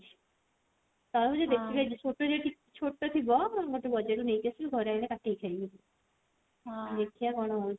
ତରଭୁଜ ଦେଖିବି ଛୋଟ ଯଦି ଛୋଟ ଥିବ ତାହେଲେ ବଜାର ରୁ ନେଇକି ଆସିବି ଘରେ ଆଇଲେ କାଟିକି ଖାଇବି ଦେଖିଆ କଣ ହଉଛି